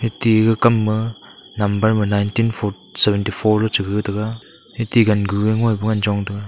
ti kam ma number ma nineteen seventy four cha ga taga eti gan gu chong taga.